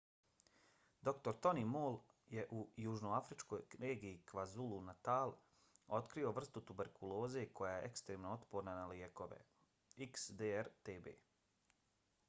dr. tony moll je u južnoafričkoj regiji kwazulu-natal otkrio vrstu tuberkuloze koja je ekstremno otporna na lijekove xdr-tb